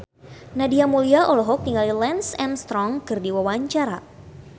Nadia Mulya olohok ningali Lance Armstrong keur diwawancara